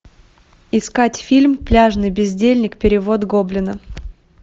искать фильм пляжный бездельник перевод гоблина